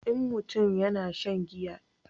in mutum ya sha giya da yawa yana sa mutum barci